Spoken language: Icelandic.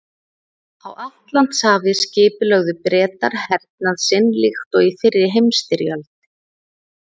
Á Atlantshafi skipulögðu Bretar hernað sinn líkt og í fyrri heimsstyrjöld.